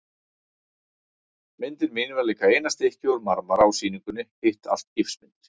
Myndin mín var líka eina stykkið úr marmara á sýningunni, hitt allt gifsmyndir.